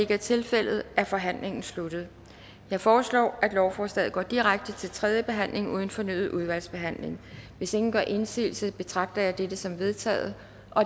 ikke er tilfældet er forhandlingen sluttet jeg foreslår at lovforslaget går direkte til tredje behandling uden fornyet udvalgsbehandling hvis ingen gør indsigelse betragter jeg dette som vedtaget